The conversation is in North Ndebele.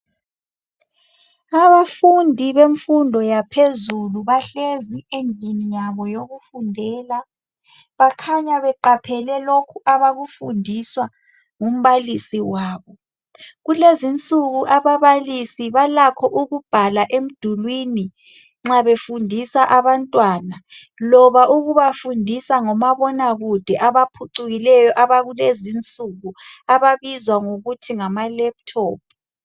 Abafundi bemfundo yaphezulu bahlezi endlini yabo yokufundela bakhanya beqaphele lokhu abakufundiswa ngumbalisi wabo, Kulezinsuku abababalisi balakho ukubhala emdulwini nxa befundisa abantwana loba ukubafundisa ngomabonakude abaphucukileyo abakulezinsuku ababizwa ngokuthi ngama'Laptop'.